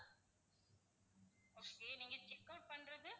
okay நீங்க checkout பண்றது?